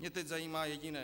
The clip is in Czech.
Mě teď zajímá jediné.